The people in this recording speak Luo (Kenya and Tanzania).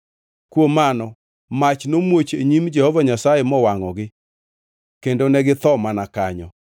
Kuom mano mach nomuoch e nyim Jehova Nyasaye mowangʼogi kendo ne githo mana kanyo.